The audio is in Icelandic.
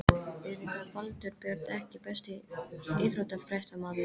Auðvitað Valtýr Björn EKKI besti íþróttafréttamaðurinn?